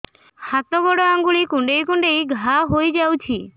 ହାତ ଗୋଡ଼ ଆଂଗୁଳି କୁଂଡେଇ କୁଂଡେଇ ଘାଆ ହୋଇଯାଉଛି